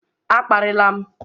A kparịla m!